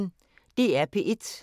DR P1